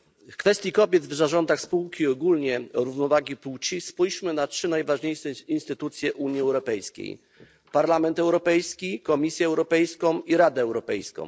W kwestii kobiet w zarządach spółek oraz ogólnie równowagi płci spójrzmy na trzy najważniejsze instytucje Unii Europejskiej Parlament Europejski, Komisję Europejską i Radę Europejską.